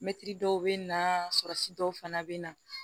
Mɛtiri dɔw bɛ na surasi dɔw fana be na